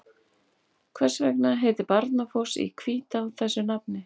Hvers vegna heitir Barnafoss í Hvítá þessu nafni?